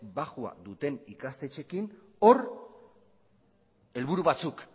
baxua duten ikastetxeekin hor helburu batzuk